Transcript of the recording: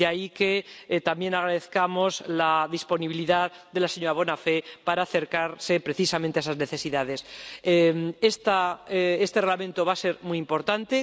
De ahí que también agradezcamos la disponibilidad de la señora Bonafè para acercarse precisamente a esas necesidades. Este Reglamento va a ser muy importante.